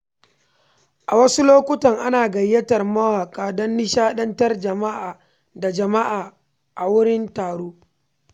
A wasu lokuta, ana gayyatar mawaƙa don nishadantar da jama’a a wurin taro.